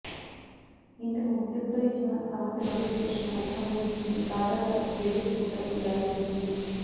ఇంతకు ముందెప్పుడో ఇచ్చిన సమ్మతి నోటిఫికేషన్ను ఉపసంహరించుకుంటూ తాజాగా గెజెట్ ఉత్తర్వులు జారీ చేసింది